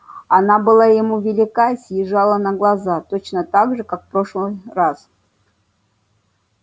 она была ему велика и съезжала на глаза точно так же как в прошлый раз